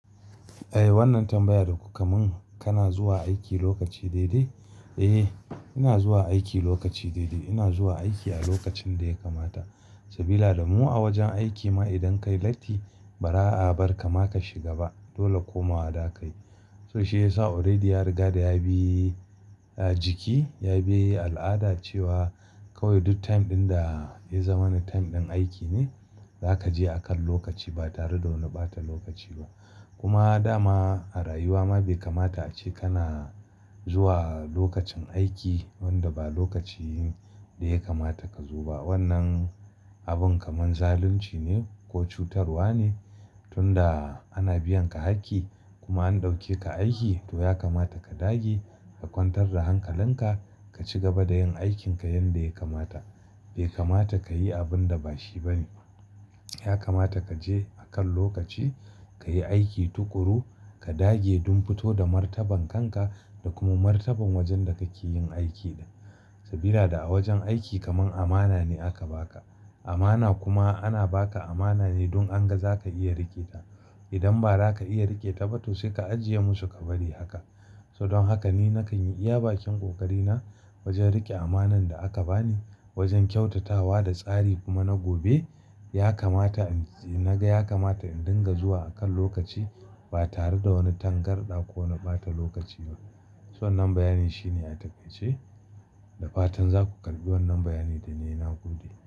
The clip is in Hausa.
Eh wannan tambaya da kuka mun kana zuwa aiki lokaci daidai? Eh ina zuwa aiki lokaci daidai ina zuwa aiki a lokacin da ya kamata sabida damu a wajen aiki ma idan ka yi latti ba ra'abar ka ma ka shiga ba dole komawa da kayi. So shi ya sa already ya riga da ya bi jiki ya bi al'ada cewa kawai duk time ɗin da ya zama wani time ɗin aiki ne za ka je akan lokaci ba tare da wani ɓata lokaci ba. Kuma dama a rayuwa ma bai kamata ace kana zuwa lokacin aiki wanda ba lokacin da ya kamata ka zo ba. Wannan abun kamar zalunci ne ko cutarwa ne tunda ana biyan ka hakki kuma an ɗauke ka aiki to ya kamata ka dage ka kwantar da hankalinka ka ci gaba da yin aikinka yanda ya kamata. Bai kamata ka yi abun da ba shi ba ne. Ya kamata ka je akan lokaci ka yi aiki tuƙuru ka dage don fito da martaban kanka da kuma martaban wajen da kake yin aiki. Sabida a wajen aiki kamar amana ne aka baka amana kuma ana baka amana ne don anga zaka iya rike ta. Idan ba za ka iya rike ta ba to sai ka ajiye musu ka bari haka. So don haka ni na kan yi iya bakin ƙoƙari na wajen riƙe amanar da aka bani wajen kyautatawa da tsari kuma na gobe ya kamata in na ga ya kamata in dinga zuwa akan lokaci ba tare da wani tangarɗa ko na ɓata lokaci ba. So wannan bayani shine a takaice da fatan za ku karɓi wannan bayani da nayi na gode.